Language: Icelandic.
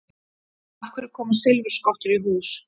Af hverju koma silfurskottur í hús?